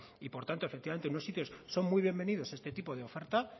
y por tanto efectivamente en unos sitios son muy bienvenidos este tipo de ofertas